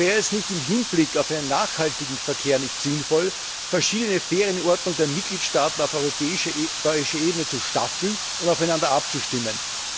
Wäre es da im Hinblick auf einen nachhaltigen Verkehr nicht sinnvoll, verschiedene Ferienordnungen der Mitgliedstaaten auf europäischer Ebene zu staffeln und aufeinander abzustimmen?